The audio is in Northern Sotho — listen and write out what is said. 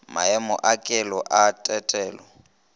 maemo a kelo a tetelo